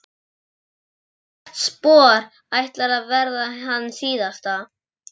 Hvert spor ætlar að verða hans síðasta.